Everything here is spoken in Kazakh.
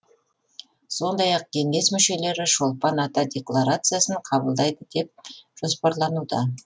сондай ақ кеңес мүшелері шолпан ата декларациясын қабылдайды деп жоспарлануда